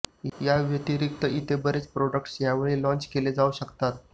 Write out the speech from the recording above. या व्यतिरिक्त इतर बरेच प्रोडक्ट्स यावेळी लाँच केले जाऊ शकतात